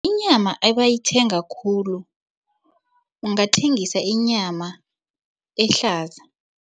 Inyama ebayithenga khulu ungathengisa inyama ehlaza.